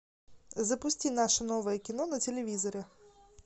запусти наше новое кино на телевизоре